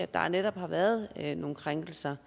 der netop har været nogle krænkelser